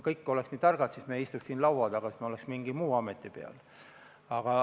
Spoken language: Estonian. Kui me oleks nii targad, siis me ei istuks siin laua taga, siis me oleks mingi muu ameti peal.